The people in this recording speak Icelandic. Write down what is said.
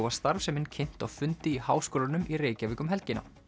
var starfsemin kynnt á fundi í Háskólanum í Reykjavík um helgina